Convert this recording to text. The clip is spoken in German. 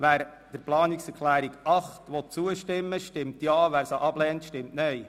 Wer dieser zustimmen will, stimmt Ja, wer diese ablehnt, stimmt Nein.